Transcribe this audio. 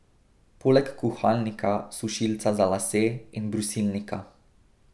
Poleg kuhalnika, sušilca za lase in brusilnika.